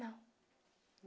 Não.